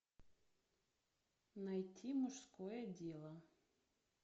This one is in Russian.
найти мужское дело